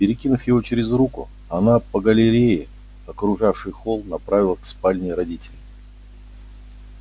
перекинув его через руку она по галерее окружавшей холл направилась к спальне родителей